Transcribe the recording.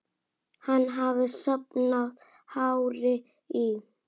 Hann hafði safnað hári í